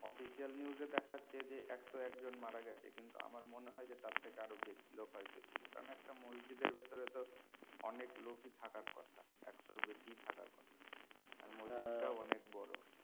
official new এ দেখাছে যে একশো এক জন মারা গেছে কিন্তু আমার মনে হয় যে তার থেকে বেশি লোক হয়তো ছিলো একটা মসজিদের ভিতরে তো অনেক লোকই থাকার কথা একশোর বেশি থাকার কথা আহ মসজিদ টা অনেক বড়